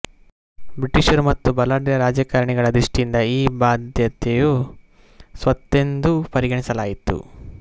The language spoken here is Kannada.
ಬ್ರಿಟಿಷರು ಮತ್ತು ಬಲಾಢ್ಯ ರಾಜಕಾರಣಿಗಳ ದೃಷ್ಟಿಯಿಂದ ಈ ಬಾಧ್ಯತೆಯು ಸ್ವತ್ತೆಂದು ಪರಿಗಣಿಸಲಾಯಿತು